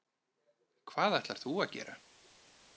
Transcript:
Hvað ætlar þú að gera?